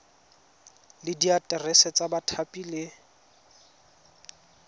le diaterese tsa bathapi le